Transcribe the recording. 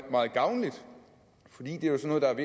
gavnligt fordi det jo er sådan